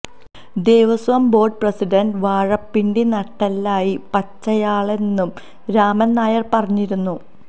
Devaswom board president വാഴപ്പിണ്ടി നട്ടെല്ലായി വച്ചയാളാണെന്നും രാമന് നായര് പറഞ്ഞിരുന്നു